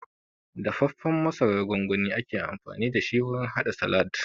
Dafaffen masarar gongoni ake amfani dashi wurin haɗa salad